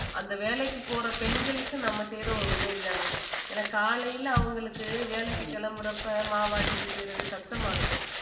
அந்த வேலைக்கு போற பெண்களுக்கு நம்ம செய்ற ஒரு உதவி தான ஏன்னா காலையில அவங்களுக்கு வேலைக்கு கிளம்புறப்ப மாவாட்டிட்டு செய்யறது கஷ்டமா இருக்கும்